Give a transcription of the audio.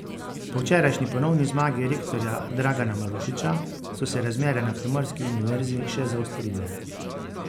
Po včerajšnji ponovni zmagi rektorja Dragana Marušiča so se razmere na primorski univerzi še zaostrile.